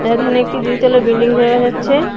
এরধানে একটি দুই তলা বিল্ডিং দেখা যাচ্চে।